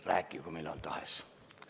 Rääkigu, millal tahes!